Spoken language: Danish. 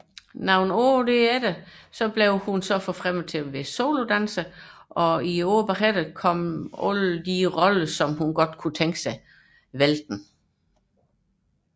Det følgende år blev hun forfremmet til solodanser og i de følgende år kom ønskerollerne væltende